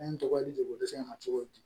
Ne tɔgɔ ye jago dɛsɛ ma cogo di